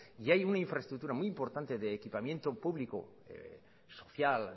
y hay una infraestructura muy importante de equipamiento público social